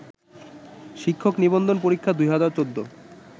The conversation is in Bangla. শিক্ষক নিবন্ধন পরীক্ষা ২০১৪